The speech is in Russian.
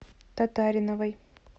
татариновой